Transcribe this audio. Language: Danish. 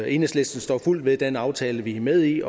enhedslisten står fuldt ved den aftale vi er med i